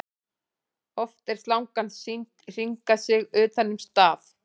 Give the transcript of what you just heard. Oft er slangan sýnd hringa sig utan um staf.